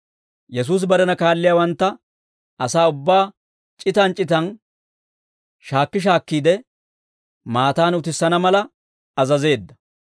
Yesuusi barena kaalliyaawantta asaa ubbaa c'itan c'itan shaakki shaakkiide, maataan utissana mala azazeedda.